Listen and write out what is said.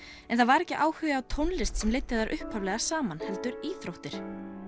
en það var ekki áhuga á tónlist sem leiddi þær upphaflega saman heldur íþróttir